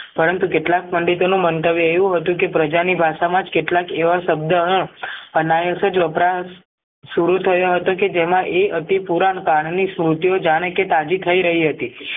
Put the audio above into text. પરંતુ કેટલા પંડિતોનું મન્તવ્ય એવું હતું કે પ્રજા ની ભાષામાં જ કેટલાક એવા શબ્દોનો અન્યથજ વપરાશ સારું થયો હતો કે જેમાં એ અતિ પૂરાંણ કાલની સ્મુર્તીઓ જાણે તાજી થઇ રહી હતી